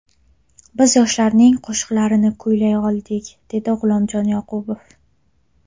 Biz yoshlarning qo‘shiqlarini kuylay oldik”, dedi G‘ulomjon Yoqubov.